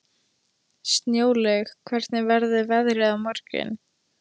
Snjólaug, hvernig verður veðrið á morgun?